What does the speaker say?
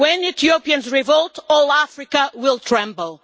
When Ethiopians revolt all Africa will tremble.